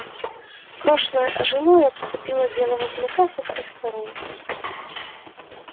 прошлое ожило и обступило белого клыка со всех сторон